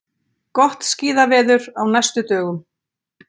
Gott skíðaveður á næstu dögum